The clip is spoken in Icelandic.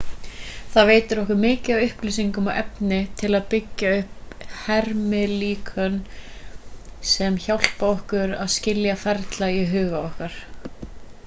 þetta veitir okkur mikið af upplýsingum og efni til að byggja upp hermilíkön sem hjálpa okkur að skilja ferla í huga okkar